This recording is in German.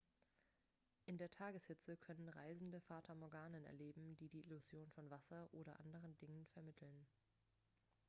in der tageshitze können reisende fata morganen erleben die die illusion von wasser oder anderen dingen vermitteln